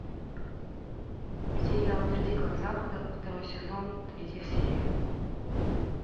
сериал мир дикого запада второй сезон третья серия